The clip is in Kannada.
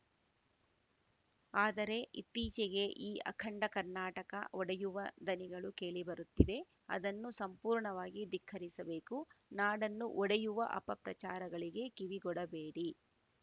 ಆದರೆ ಇತ್ತೀಚೆಗೆ ಈ ಅಖಂಡ ಕರ್ನಾಟಕ ಒಡೆಯುವ ದನಿಗಳು ಕೇಳಿ ಬರುತ್ತಿವೆ ಅದನ್ನು ಸಂಪೂರ್ಣವಾಗಿ ಧಿಕ್ಕರಿಸಬೇಕು ನಾಡನ್ನು ಒಡೆಯುವ ಅಪ ಪ್ರಚಾರಗಳಿಗೆ ಕಿವಿಗೊಡಬೇಡಿ